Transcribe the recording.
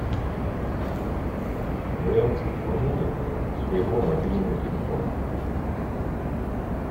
варианты пополнения своего мобильного телефона